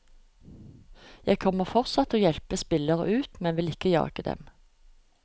Jeg kommer fortsatt til å hjelpe spillere ut, men vil ikke jage dem.